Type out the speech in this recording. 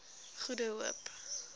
goede hoop